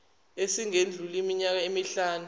esingedluli iminyaka emihlanu